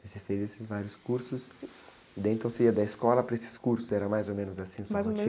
E você fez esses vários cursos, e daí então você ia da escola para esses cursos, era mais ou menos assim sua rotina?ais ou menos...